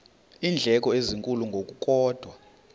iindleko ezinkulu ngokukodwa